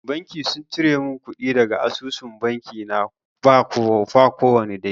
Banki sun cire mun kuɗi daga asusun banki na ba kowani dalili